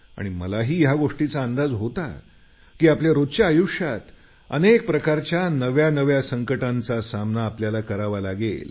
मलाही या गोष्टीचा अंदाज होता की आपल्या रोजच्या आयुष्यात अनेक प्रकारच्या नव्यानव्या संकटांचा सामना आपल्याला करावा लागेल